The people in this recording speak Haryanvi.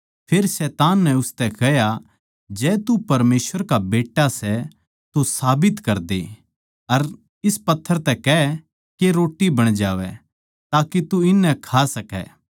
फेर शैतान नै उसतै कह्या जै तू परमेसवर का बेट्टा सै तो साबित करदे अर इस पत्थर तै कह के रोट्टी बण जावै ताके तू इननै खा सकै